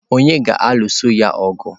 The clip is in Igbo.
Ònye ga-alụso ya ọgụ?